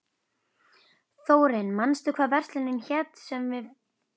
Þórinn, manstu hvað verslunin hét sem við fórum í á þriðjudaginn?